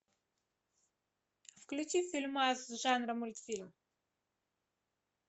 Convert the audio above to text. включи фильмас жанра мультфильм